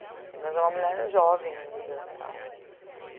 Enfim, mas é uma mulher jovem ainda e tal